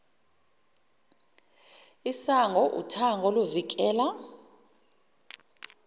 isango uthango oluvikela